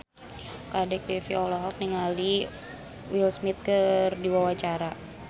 Kadek Devi olohok ningali Will Smith keur diwawancara